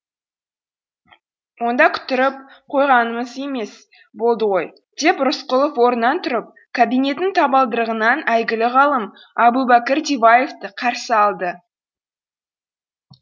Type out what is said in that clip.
онда күттіріп қойғанымыз емес болды ғой деп рысқұлов орнынан тұрып кабинеттің табалдырығынан әйгілі ғалым әбубәкір диваевты қарсы алды